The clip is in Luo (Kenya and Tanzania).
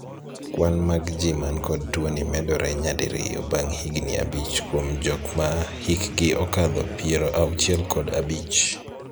Kwan mag ji man kod tuo ni medore nya diriyo bang' higni abich kuom jok ma hikgi okadho piero auchiel kod abich.